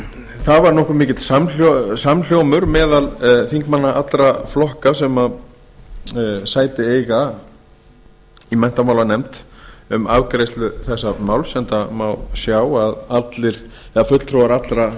það var nokkuð mikill samhljómur meðal þingmanna allra flokka sem sæti eiga í menntamálanefnd um afgreiðslu þessa máls enda má sjá að fulltrúar allra